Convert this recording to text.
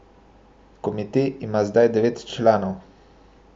Komite ima zdaj devet članov.